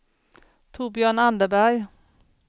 Torbjörn Anderberg